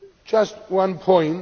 Just one point.